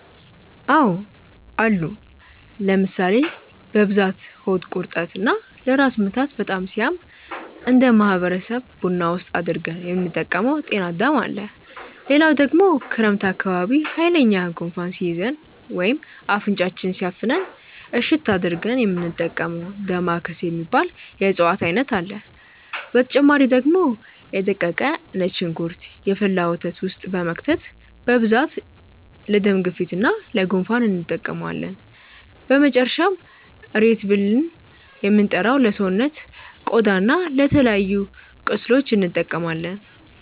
አዎ አሉ ለምሳሌ፦ በብዛት ሆድ ቁርጠት እና ለራስ ምታት በጣም ሲያም እነደ ማህበረሰብ ቡና ውስጥ አድርገን የምንጠቀመው ጤናዳም አለ፣ ሌላው ደግሞ ክረምት አካባቢ ሃይለኛ ጉንፋን ሲይዘን ወይም አፍንጫችንን ሲያፍነን እሽት አድርገን የሚንጠቀመው ዳማከሴ የሚባል የእፅዋት አይነት አለ፣ በተጨማሪ ደግሞ የ ደቀቀ ነጭ ሽንኩርት የፈላ ወተት ውስጥ በመክተት በብዛት ለደም ግፊት እና ለ ጉንፋን እንጠቀመዋለን፣ በመጨረሻም ሬት ብልን የምንጠራው ለሰውነት ቆዳ እና ለተለያዩ ቁስሎች እንጠቀማለን።